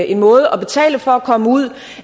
en måde at betale for at komme ud